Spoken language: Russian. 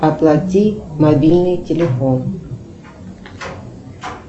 оплати мобильный телефон